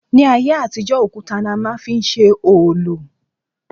Ní ayé àtijó òkutá ni a má n fi ṣe òòlù